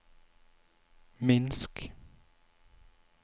Minsk